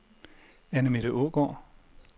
Annemette Aagaard